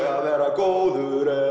að vera góður er